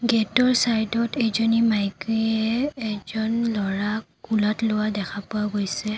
গেটৰ চাইডত এজনী মাইকীয়ে এজন ল'ৰাক কোলাত লোৱা দেখা পোৱা গৈছে।